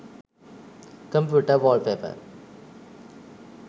computer wallpaper